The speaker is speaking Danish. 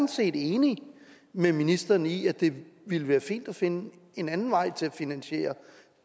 set enig med ministeren i at det ville være fint at finde en anden vej til at finansiere